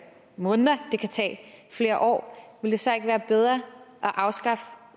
måneder det kan tage flere år ville det så ikke være bedre at afskaffe